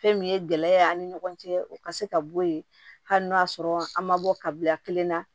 Fɛn min ye gɛlɛya ye an ni ɲɔgɔn cɛ o ka se ka bɔ yen hali n'o y'a sɔrɔ an ma bɔ kabila kelen na